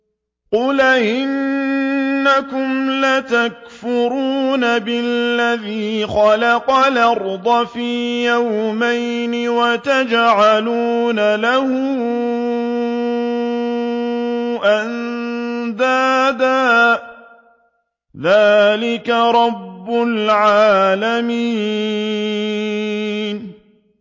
۞ قُلْ أَئِنَّكُمْ لَتَكْفُرُونَ بِالَّذِي خَلَقَ الْأَرْضَ فِي يَوْمَيْنِ وَتَجْعَلُونَ لَهُ أَندَادًا ۚ ذَٰلِكَ رَبُّ الْعَالَمِينَ